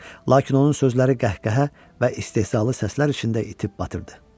Lakin onun sözləri qəhqəhə və istehzalı səslər içində itib batırdı.